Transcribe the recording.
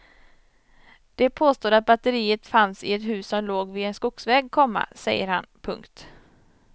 De påstod att batteriet fanns i ett hus som låg vid en skogsväg, komma säger han. punkt